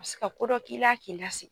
se ka ko dɔ k'i la k'i lasi